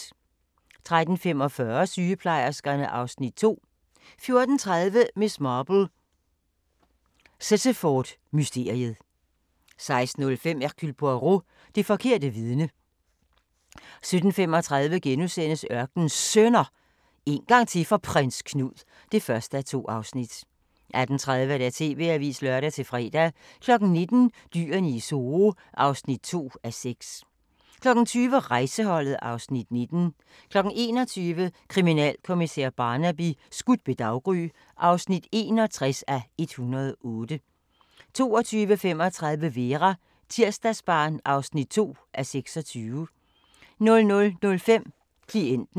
13:45: Sygeplejerskerne (Afs. 2) 14:30: Miss Marple: Sittaford-mysteriet 16:05: Hercule Poirot: Det forkerte vidne 17:35: Ørkenens Sønner – en gang til for Prins Knud (1:2)* 18:30: TV-avisen (lør-fre) 19:00: Dyrene i Zoo (2:6) 20:00: Rejseholdet (Afs. 19) 21:00: Kriminalkommissær Barnaby: Skudt ved daggry (61:108) 22:35: Vera: Tirsdagsbarn (2:26) 00:05: Klienten